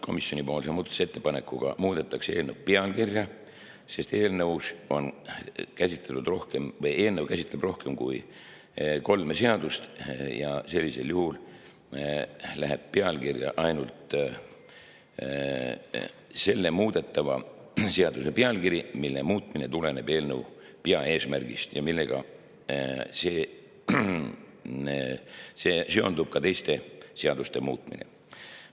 Komisjoni muudatusettepanekuga muudetakse eelnõu pealkirja, sest eelnõu käsitleb rohkem kui kolme seadust ja sellisel juhul läheb pealkirja ainult selle muudetava seaduse pealkiri, mille muutmine tuleneb eelnõu peaeesmärgist ja millega seondub teiste seaduste muutmine.